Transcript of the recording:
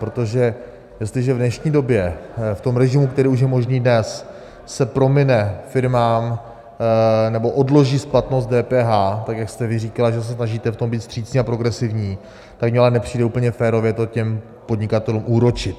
Protože jestliže v dnešní době v tom režimu, který už je možný dnes, se promine firmám, nebo odloží splatnost DPH, tak jak jste vy říkala, že se snažíte v tom být vstřícní a progresivní, tak mi ale nepřijde úplně férové to těm podnikatelům úročit.